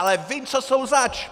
Ale vím, co jsou zač!